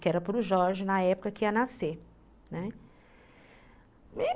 que era para o Jorge na época que ia nascer.